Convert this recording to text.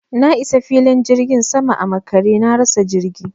Na isa filin jirgin saman a makare, na rasa jirgi.